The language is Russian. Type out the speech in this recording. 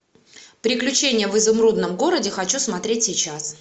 приключения в изумрудном городе хочу смотреть сейчас